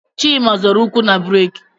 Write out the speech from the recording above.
Chima zọrọ ụkwụ na buraaki